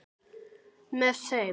Með þeim